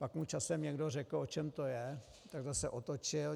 Pak mu časem někdo řekl, o čem to je, tak zase otočil.